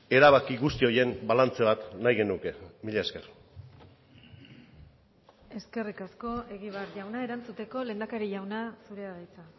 erabaki guzti horien balantze bat nahi genuke mila esker eskerrik asko egibar jauna erantzuteko lehendakari jauna zurea da hitza